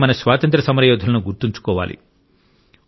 అలాగే మన స్వాతంత్య్ర సమరయోధులను గుర్తుంచుకోవాలి